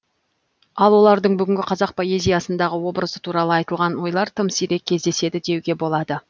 ал олардың бүгінгі қазақ поэзиясындағы образы туралы айтылған ойлар тым сирек кездеседі деуге болады